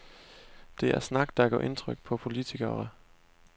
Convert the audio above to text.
Det er snak, der gør indtryk på politikere.